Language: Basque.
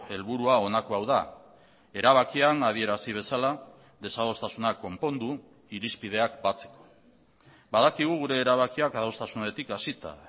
helburua honako hau da erabakian adierazi bezala desadostasuna konpondu irizpideak batzeko badakigu gure erabakiak adostasunetik hasita